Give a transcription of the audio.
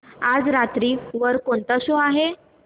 आज रात्री वर कोणता शो आहे